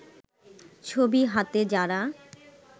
ছবি হাতে যারা